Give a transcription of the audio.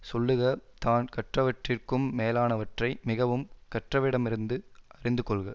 சொல்லுக தான் கற்றவற்றிற்கும் மேலானவற்றை மிகவும் கற்றவரிடமிருந்து அறிந்து கொள்க